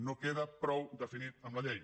no queda prou definit amb la llei